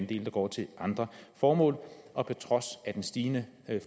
del der går til andre formål og på trods af den stigende